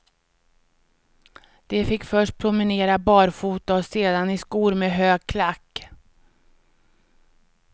De fick först promenera barfota och sedan i skor med hög klack.